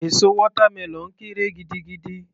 Èso watermelon kéré gidigidi